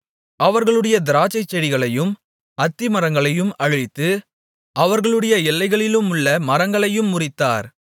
அவர்களுடைய திராட்சைச்செடிகளையும் அத்திமரங்களையும் அழித்து அவர்களுடைய எல்லைகளிலுள்ள மரங்களையும் முறித்தார்